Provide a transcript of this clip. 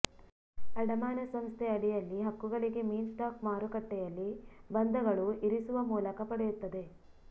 ಅಡಮಾನ ಸಂಸ್ಥೆ ಅಡಿಯಲ್ಲಿ ಹಕ್ಕುಗಳಿಗೆ ಮೀನ್ಸ್ ಸ್ಟಾಕ್ ಮಾರುಕಟ್ಟೆಯಲ್ಲಿ ಬಂಧಗಳು ಇರಿಸುವ ಮೂಲಕ ಪಡೆಯುತ್ತದೆ